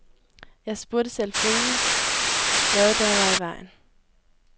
Jeg spurgte selvfølgelig, hvad der var i vejen.